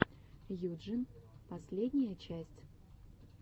юджин последняя часть